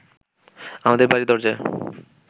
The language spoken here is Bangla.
আমাদের বাড়ির দরজায়